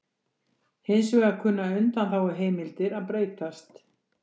Hins vegar kunna undanþáguheimildir að breytast